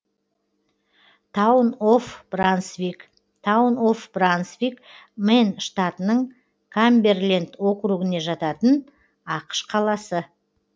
таун оф брансвик таун оф брансвик мэн штатының камберленд округіне жататын ақш қаласы